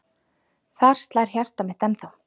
Þar slær hjartað mitt ennþá.